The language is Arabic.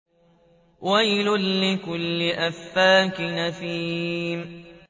وَيْلٌ لِّكُلِّ أَفَّاكٍ أَثِيمٍ